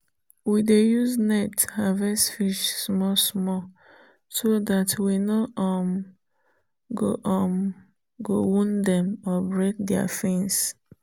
we dey use net harvest fish small small so that we no um go um wound dem or break their fins.